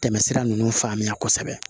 Tɛmɛsira ninnu faamuya kosɛbɛ